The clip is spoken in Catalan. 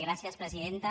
gràcies presidenta